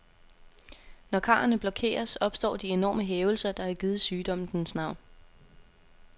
Når karrene blokeres, opstår de enorme hævelser, der har givet sygdommen dens navn.